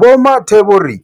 Vho Mathe vho ri,